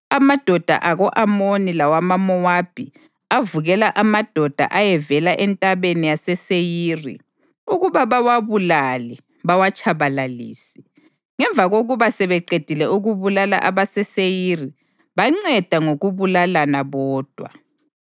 Amadoda ako-Amoni lawamaMowabi avukela amadoda ayevela eNtabeni yaseSeyiri ukuba bawabulale bawatshabalalise. Ngemva kokuba sebeqedile ukubulala abaseSeyiri, banceda ngokubulalana bodwa.